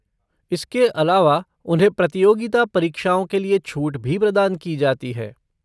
इसके अलावा उन्हें प्रतियोगिता परीक्षाओं के लिए छूट भी प्रदान की जाती है।